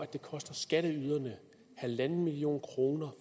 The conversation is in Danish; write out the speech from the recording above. det koster skatteyderne en million kroner